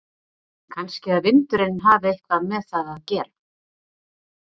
Kannski að vindurinn hafi eitthvað með það að gera?